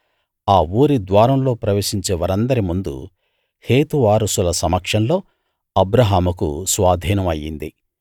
ఆ ఊరి ద్వారంలో ప్రవేశించే వారందరి ముందు హేతు వారసుల సమక్షంలో అబ్రాహాముకు స్వాధీనం అయింది